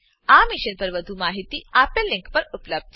આ મિશન પર વધુ માહિતી આપેલ લીંક પર ઉપલબ્ધ છે